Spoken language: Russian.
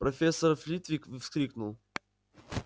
профессор флитвик вскрикнул